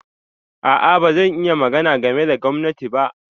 A'a, ba zan iya magana game da gwaninta ba.